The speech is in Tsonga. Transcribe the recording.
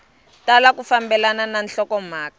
tala ku fambelana na nhlokomhaka